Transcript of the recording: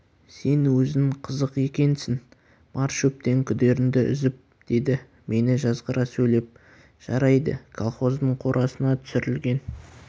сен өзің қызық екенсің бар шөптен күдеріңді үзіп деді мені жазғыра сөйлеп жарайды колхоздың қорасына түсірілген